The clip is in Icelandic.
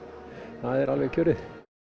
það er alveg kjörið